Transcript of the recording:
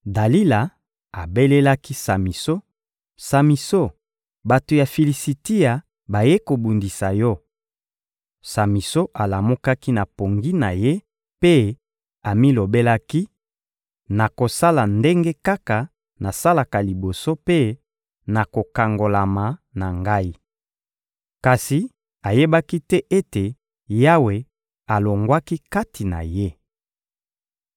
Dalila abelelaki Samison: «Samison, bato ya Filisitia bayei kobundisa yo!» Samison alamukaki na pongi na ye mpe amilobelaki: «Nakosala ndenge kaka nasalaka liboso mpe nakokangolama na ngai.» Kasi ayebaki te ete Yawe alongwaki kati na ye.